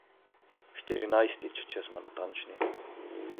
Štirinajstič, če smo natančni.